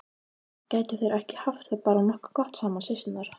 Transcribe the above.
Gætu þær ekki haft það bara nokkuð gott saman, systurnar?